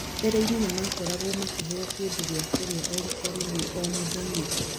"Mbere-inĩ nĩ makoragwo makĩheo kĩndũ gĩa kũrĩa o riita rĩmwe o mũthenya.